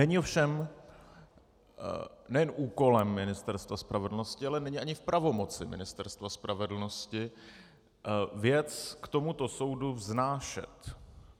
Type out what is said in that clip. Není ovšem nejen úkolem Ministerstva spravedlnosti, ale není ani v pravomoci Ministerstva spravedlnosti věc k tomuto soudu vznášet.